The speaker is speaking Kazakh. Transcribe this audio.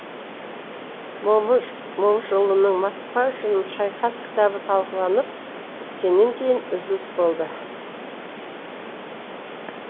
момышұлының москва үшін шайқас кітабы талқыланып біткеннен кейін үзіліс болды